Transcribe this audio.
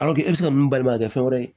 i bɛ se ka mun balimakɛ fɛn wɛrɛ ye